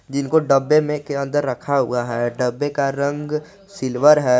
जिनको डब्बे में के अंदर रखा हुआ है डब्बे का रंग सिल्वर है।